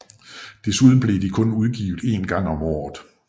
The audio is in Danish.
Desuden blev de kun udgivet en gang om året